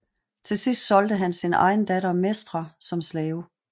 Til sidst solgte han sin egen datter Mestra som slave